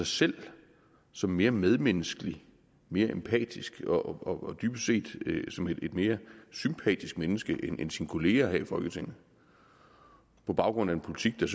selv som mere medmenneskelig mere empatisk og dybest set et mere sympatisk menneske end ens kolleger her i folketinget på baggrund af en politik der